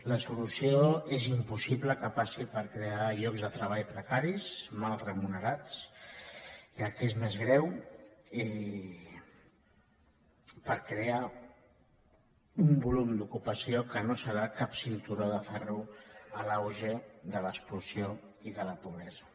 la solució és impossible que passi per crear llocs de treball precaris mal remunerats i el que és més greu per crear un volum d’ocupació que no serà cap cinturó de ferro a l’auge de l’exclusió i de la pobresa